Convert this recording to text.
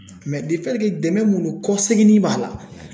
Mɛ defɛtike dɛmɛ mun don kɔseginin b'a la